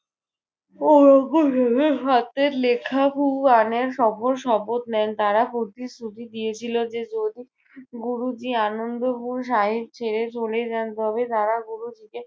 হাতের লেখা কুরানের শপথ নেন। তারা প্রতিশ্রুতি দিয়েছিলো যে যদি গুরুজী আনন্দপুর শাহিদ ছেড়ে চলে যান তবে তারা গুরুজীকে